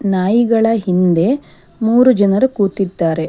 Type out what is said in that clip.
ನಾಯಿಗಳ ಹಿಂದೆ ಮೂರು ಜನರು ಕೂತಿದ್ದಾರೆ.